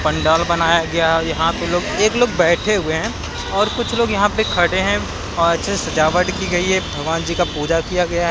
पंडाल बनाया गया है यहां पे लोग एक लोग बैठे हुए हैं और कुछ लोग यहां पे खड़े हैं अच्छे से सजावट की गई है भगवान जी का पूजा किया गया है।